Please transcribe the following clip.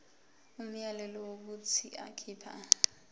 umyalelo wokuthi akhipha